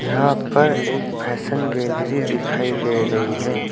यहां पर एक फैशन गैलरी दिखाई दे रही है।